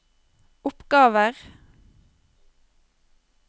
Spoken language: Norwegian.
oppgaver